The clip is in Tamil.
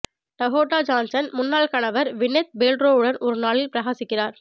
டகோட்டா ஜான்சன் முன்னாள் கணவர் க்வினெத் பேல்ட்ரோவுடன் ஒரு நாளில் பிரகாசிக்கிறார்